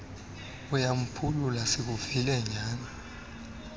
uyamphulula sikuvile nyana